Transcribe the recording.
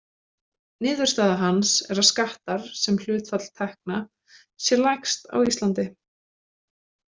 Niðurstaða hans er að skattar sem hlutfall tekna sé lægst á Íslandi.